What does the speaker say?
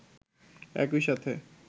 একই সাথে